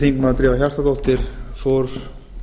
þingmenn drífa hjartardóttir fór